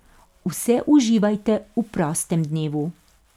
Vse uživajte v prostem dnevu.